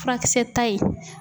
Furakisɛta in